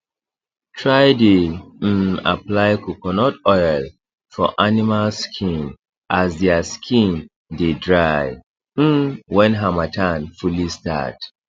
try dey um apply coconut oil for animal skin as dia skin dey dry um wen hamattan fully start